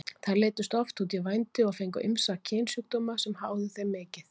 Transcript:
Þær leiddust oft út í vændi og fengu ýmsa kynsjúkdóma sem háðu þeim mikið.